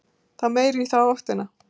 Þá meira í þá áttina.